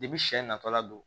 sɛ natɔla don